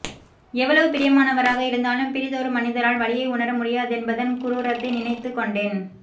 எவ்வளவு பிரியமானவராக இருந்தாலும் பிறிதொருமனிதரால் வலியை உணர முடியாதென்பதன் குரூரத்தை நினைத்துக்கொண்டேன்